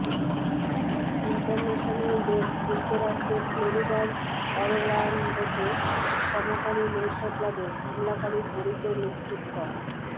international desk যুক্তরাষ্ট্রের ফ্লোরিডার অরল্যান্ডোতে সমকামী নৈশক্লাবে হামলাকারীর পরিচয় নিশ্চিত ক